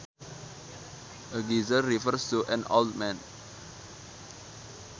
A geezer refers to an old man